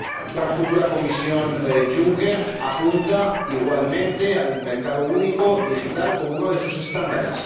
La futura Comisión Juncker apunta igualmente al mercado único digital como uno de sus estándares.